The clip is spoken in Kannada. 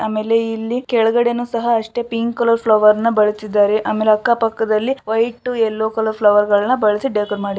ಆಮೇಲೆ ಇಲ್ಲಿ ಕೆಳ್ಗಡೆನು ಸಹ ಅಷ್ಟೇ ಪಿಂಕ್ ಕಲರ್ ಫ್ಲವರ್ ನ ಬಳಸಿದ್ದಾರೆ. ಆಮೇಲೆ ಅಕ್ಕ ಪಕ್ಕದಲ್ಲಿ ವೈಟ್ ಯಲ್ಲೋ ಕಲರ್ ಫ್ಲವರ್ಗಳನ್ನ ಬಳಸಿ ಡೆಕೋರ್ ಮಾಡಿದ್ದಾರೆ.